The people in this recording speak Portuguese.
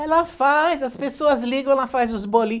Ela faz, as pessoas ligam, ela faz os bolinho.